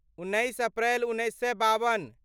उन्नैस अप्रैल उन्नैस सए बावन